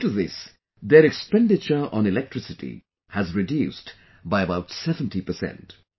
Due to this, their expenditure on electricity has reduced by about 70 percent